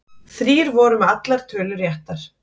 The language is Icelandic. Þrír voru með allar tölur réttar